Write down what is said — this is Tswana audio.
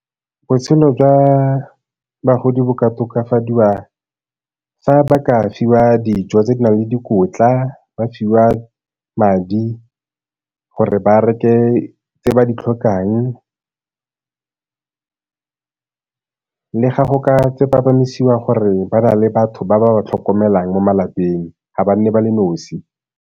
Botshelo jwa bagodi bo ka tokafadiwa fa ba ka fiwa dijo tse di nang le dikotla, ba fiwa madi gore ba reke tse ba di tlhokang le ga go ka gore ba na le batho ba ba ba tlhokomelang mo malapeng ga ba nne ba le nosi.